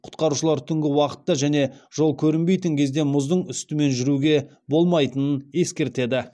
құтқарушылар түнгі уақытта және жол көрінбейтін кезде мұздың үстімен жүруге болмайтынын ескертеді